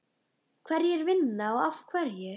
Hverjir vinna og af hverju?